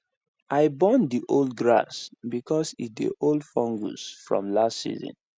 i burn the old grass because e dey hold fungus from last season